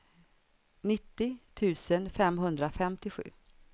nittio tusen femhundrafemtiosju